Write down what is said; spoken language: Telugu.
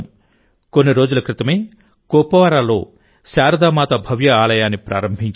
కొన్ని రోజుల క్రితమేకుప్వారాలో శారదామాత భవ్య ఆలయాన్ని ప్రారంభించారు